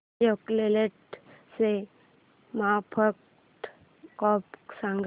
अशोक लेलँड ची market cap सांगा